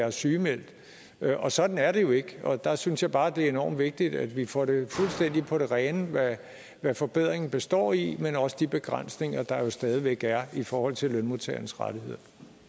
er sygemeldt og sådan er det jo ikke og der synes jeg bare det er enormt vigtigt at vi får det fuldstændig på det rene hvad forbedringen består i men også de begrænsninger der jo stadig væk er i forhold til lønmodtagernes rettigheder